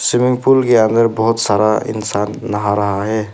Swimming pool के अंदर बहुत सारा इंसान नहा रहा है।